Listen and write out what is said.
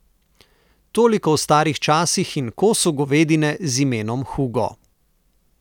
Toliko o starih časih in kosu govedine z imenom Hugo.